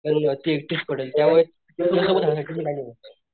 म्हणून ती एकटीच पडेल त्यामुळे तिच्यासोबत राहण्यासाठी मी निवडलं.